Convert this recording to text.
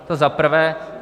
To za prvé.